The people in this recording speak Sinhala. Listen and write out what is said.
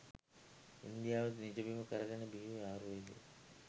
ඉන්දියාව නිජබිම කරගෙන බිහිවූ ආයුර්වේදය